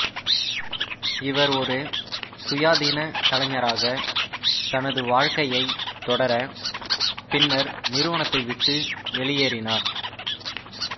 இவர் ஒரு சுயாதீனக் கலைஞராக தனது வாழ்க்கையைத் தொடர பின்னர் நிறுவனத்தை விட்டு வெளியேறினார்